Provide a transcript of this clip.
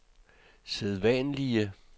sædvanlige